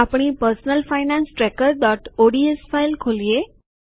આપણી personal finance tracker ODS file ખોલીએ